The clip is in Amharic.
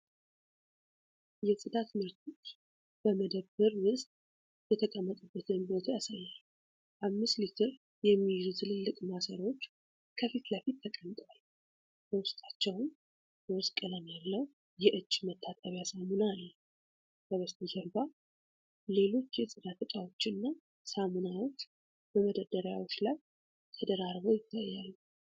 የጽዳት ምርቶች በመደብር ውስጥ የተቀመጡበትን ቦታ ያሳያል። አምስት ሊትር የሚይዙ ትልልቅ ማሰሮዎች ከፊት ለፊት ተቀምጠዋል፤ በውስጣቸውም ሮዝ ቀለም ያለው የእጅ መታጠቢያ ሳሙና አለ። ከበስተጀርባ ሌሎች የጽዳት እቃዎችና ሳሙናዎች በመደርደሪያዎች ላይ ተደራርበው ይታያሉ።